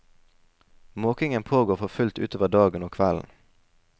Måkingen pågår for fullt utover dagen og kvelden.